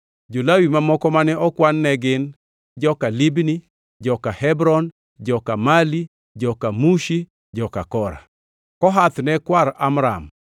Jo-Lawi mamoko mane okwan ne gin: joka Libni, joka Hebron, joka Mali, joka Mushi, joka Kora. (Kohath ne kwar Amram;